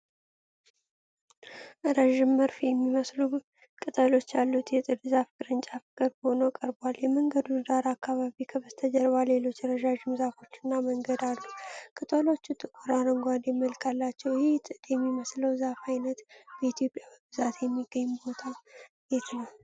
ረዥም መርፌ የሚመስሉ ቅጠሎች ያሉት የጥድ ዛፍ ቅርንጫፍ ቅርብ ሆኖ ቀርቧል። የመንገዱ ዳር አካባቢ፣ ከበስተጀርባ ሌሎች ረዣዥም ዛፎች እና መንገድ አሉ። ቅጠሎቹ ጥቁር አረንጓዴ መልክ አላቸው። ይህ ጥድ የሚመስለው ዛፍ ዓይነት በኢትዮጵያ በብዛት የሚገኝ ቦታ የት ነው?